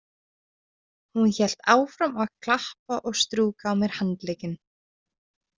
Hún hélt áfram að klappa og strjúka á mér handlegginn.